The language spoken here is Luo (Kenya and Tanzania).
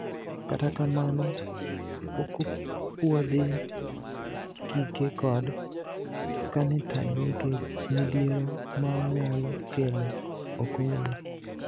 Katakamano pokopuodhi kike kod carnitine nikech midhiero maonyalo kelo okong`ere.